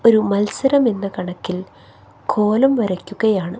ഒരു മത്സരം എന്ന കണക്കിൽ കോലം വരക്കുകയാണ്.